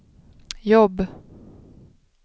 jobb